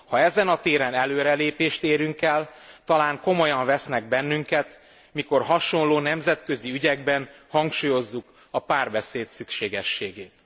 Ha ezen a téren előrelépést érünk el, talán komolyan vesznek bennünket, mikor hasonló nemzetközi ügyekben hangsúlyozzuk a párbeszéd szükségességét.